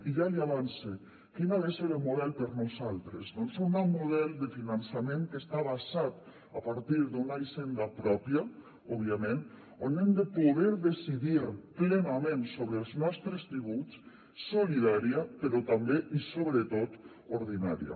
i ja l’hi avance quin ha de ser el model per nosaltres doncs un nou model de finançament que està basat a partir d’una hisenda pròpia òbviament on hem de poder decidir plenament sobre els nostres tributs solidària però també i sobretot ordinària